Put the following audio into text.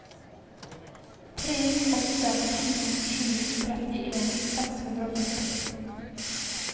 tre åtte sju sju trettien seks hundre og førti